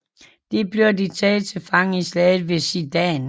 Dér blev de taget til fange i slaget ved Sedan